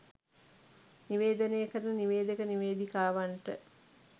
නිවේදනය කරන නිවේදක නිවේදිකාවන්ට